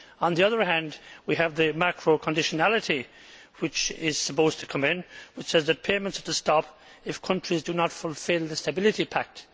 On the other hand, we have the macro conditionality which is supposed to come in, which says that payments are to stop if countries do not fulfil the Stability Pact.